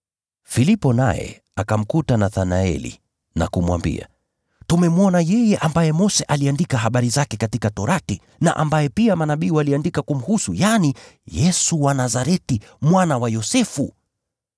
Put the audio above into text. Filipo naye akamkuta Nathanaeli na kumwambia, “Tumemwona yeye ambaye Mose aliandika habari zake katika Sheria na ambaye pia manabii waliandika kumhusu, yaani, Yesu wa Nazareti, mwana wa Yosefu.”